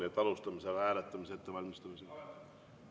Nii et alustame selle hääletamise ettevalmistamist.